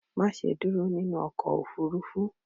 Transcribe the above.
ma ṣe dúró nínú ọkọ̀ òfurufú!